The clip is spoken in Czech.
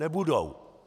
Nebudou.